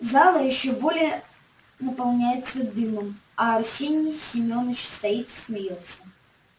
зала ещё более наполняется дымом а арсений семёныч стоит и смеётся